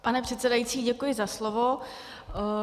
Pane předsedající, děkuji za slovo.